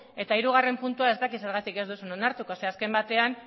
eta hirugarrena puntua ez dakit zergatik ez duzun onartuko zeren eta azken finean